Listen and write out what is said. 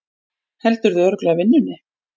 Heldurðu örugglega vinnunni?